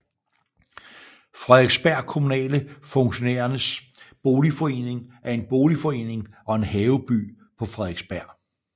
Frederiksberg Kommunale Funktionærers Boligforening er en boligforening og en haveby på Frederiksberg